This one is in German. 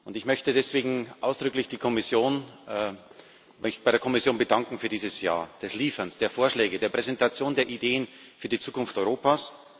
Ich möchte mich deswegen ausdrücklich bei der Kommission bedanken für dieses Jahr des Lieferns, der Vorschläge, der Präsentation der Ideen für die Zukunft Europas.